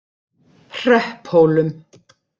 Hrepphólum